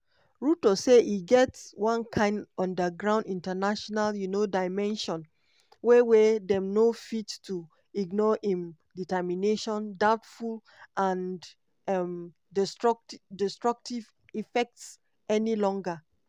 ruto say e get "one kain underground international um dimension wey wey dem no fit to ignore im determination doubtful and um destructive effects any longer.